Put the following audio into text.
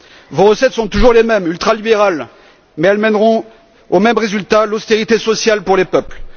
Vos recettes sont toujours les mêmes, ultralibérales, mais elles mèneront au même résultat l'austérité sociale pour les peuples.